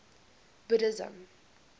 buddhism